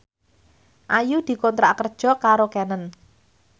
Ayu dikontrak kerja karo Canon